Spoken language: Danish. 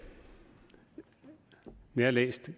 jeg har lyst